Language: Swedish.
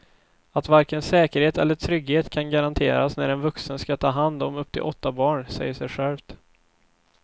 Att varken säkerhet eller trygghet kan garanteras när en vuxen ska ta hand om upp till åtta barn säger sig självt.